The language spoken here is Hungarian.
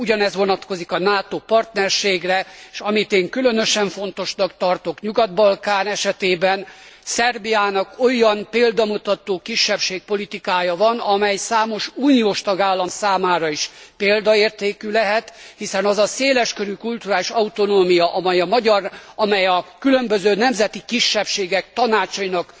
Ugyanez vonatkozik a NATO partnerségre, és amit én különösen fontosnak tartok a Nyugat Balkán esetében, Szerbiának olyan példamutató kisebbségpolitikája van, amely számos uniós tagállam számára is példaértékű lehet, hiszen az a széleskörű kulturális autonómia, amely a különböző nemzeti kisebbségek tanácsainak